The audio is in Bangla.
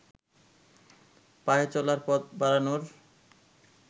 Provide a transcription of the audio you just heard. পায়ে চলার পথ বাড়ানোর